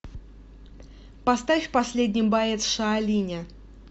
поставь последний боец шаолиня